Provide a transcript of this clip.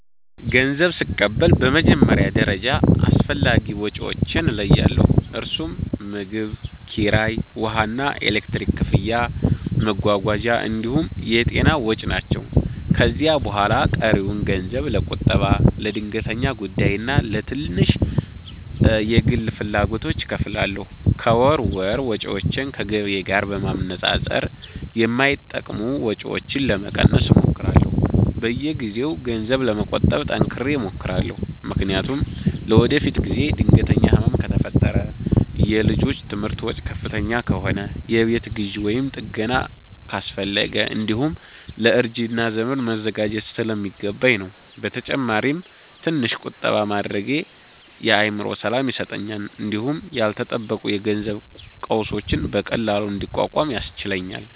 ገንዘብ ስቀበል በመጀመሪያ ደረጃ አስፈላጊ ወጪዎቼን እለያለሁ፤ እነርሱም ምግብ፣ ኪራይ፣ ውሃና ኤሌክትሪክ ክፍያ፣ መጓጓዣ እንዲሁም የጤና ወጪ ናቸው። ከዚያ በኋላ ቀሪውን ገንዘብ ለቁጠባ፣ ለድንገተኛ ጉዳይና ለትንሽ የግል ፍላጎቶች እከፋፍላለሁ። ከወር ወር ወጪዎቼን ከገቢዬ ጋር በማነጻጸር የማይጠቅሙ ወጪዎችን ለመቀነስ እሞክራለሁ። በየጊዜው ገንዘብ ለመቆጠብ ጠንክሬ እሞክራለሁ፤ ምክንያቱም ለወደፊት ጊዜ ድንገተኛ ህመም ከፈጠረ፣ የልጆች ትምህርት ወጪ ከፍተኛ ከሆነ፣ የቤት ግዢ ወይም ጥገና አስፈለገ፣ እንዲሁም ለእርጅና ዘመን መዘጋጀት ስለሚገባኝ ነው። በተጨማሪም ትንሽ ቁጠባ ማድረጌ የአእምሮ ሰላም ይሰጠኛል እንዲሁም ያልተጠበቁ የገንዘብ ቀውሶችን በቀላሉ እንድቋቋም ያስችለኛል